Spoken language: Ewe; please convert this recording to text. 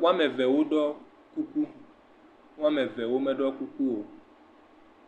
wo ame eve wo dɔ kuku wo ame eve wo me do kuku o.